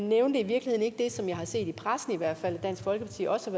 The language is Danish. nævnte i virkeligheden ikke det som jeg har set i pressen at dansk folkeparti også